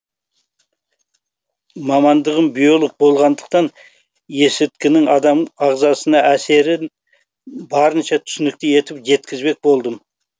мамандығым биолог болғандықтан есірткінің адам ағзасына әсерін барынша түсінікті етіп жеткізбек болдым